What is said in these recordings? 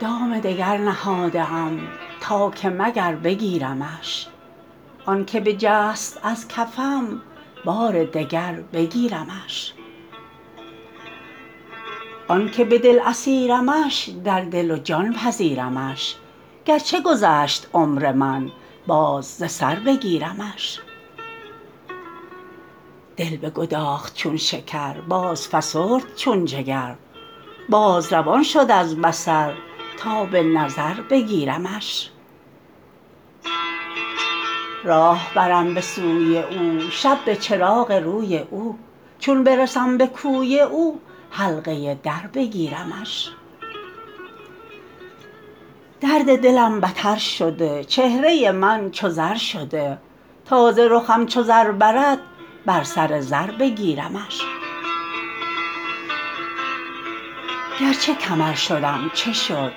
دام دگر نهاده ام تا که مگر بگیرمش آنک بجست از کفم بار دگر بگیرمش آنک به دل اسیرمش در دل و جان پذیرمش گرچه گذشت عمر من باز ز سر بگیرمش دل بگداخت چون شکر بازفسرد چون جگر باز روان شد از بصر تا به نظر بگیرمش راه برم به سوی او شب به چراغ روی او چون برسم به کوی او حلقه در بگیرمش درد دلم بتر شده چهره من چو زر شده تا ز رخم چو زر برد بر سر زر بگیرمش گرچه کمر شدم چه شد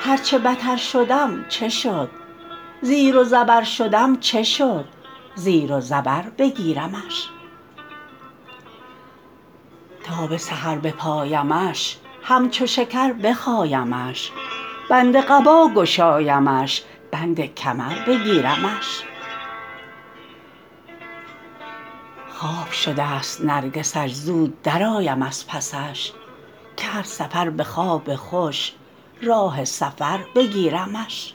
هر چه بتر شدم چه شد زیر و زبر شدم چه شد زیر و زبر بگیرمش تا به سحر بپایمش همچو شکر بخایمش بند قبا گشایمش بند کمر بگیرمش خواب شدست نرگسش زود درآیم از پسش کرد سفر به خواب خوش راه سفر بگیرمش